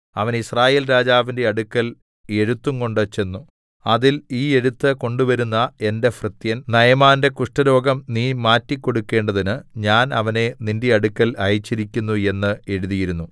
അവൻ യിസ്രായേൽ രാജാവിന്റെ അടുക്കൽ എഴുത്തുംകൊണ്ട് ചെന്നു അതിൽ ഈ എഴുത്ത് കൊണ്ടുവരുന്ന എന്റെ ഭൃത്യൻ നയമാന്റെ കുഷ്ഠരോഗം നീ മാറ്റിക്കൊടുക്കേണ്ടതിന് ഞാൻ അവനെ നിന്റെ അടുക്കൽ അയച്ചിരിക്കുന്നു എന്ന് എഴുതിയിരുന്നു